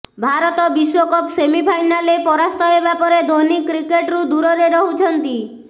ଭାରତ ବିଶ୍ୱକପ୍ ସେମିଫାଇନାଲରେ ପରାସ୍ତ ହେବା ପରେ ଧୋନୀ କ୍ରିକେଟରୁ ଦୂରରେ ରହୁଛନ୍ତି